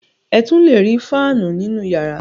Ẹ tún le rí fáánù nínú ìyàrá.